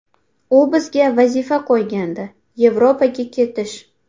U bizga vazifa qo‘ygandi Yevropaga ketish.